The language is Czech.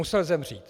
Musel zemřít.